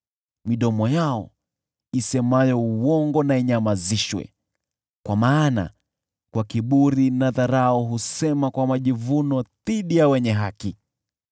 Midomo yao isemayo uongo na inyamazishwe, kwa maana kwa kiburi na dharau wao husema kwa majivuno dhidi ya wenye haki.